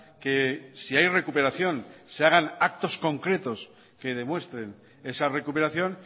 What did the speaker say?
que si hay recuperación se hagan actos concretos que demuestren esa recuperación